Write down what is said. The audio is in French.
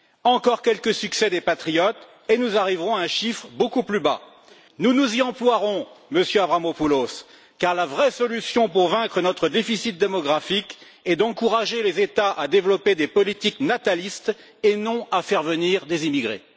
Encore quelques succès des patriotes et nous arriverons à un chiffre beaucoup plus bas. Nous nous y emploierons, Monsieur Avramopoulos, car la vraie solution pour vaincre notre déficit démographique est d'encourager les États à développer des politiques natalistes et non à faire venir des immigrés.